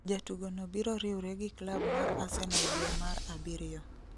Jatugo no biro riwre gi klab mar Arsenal due mar abiriyo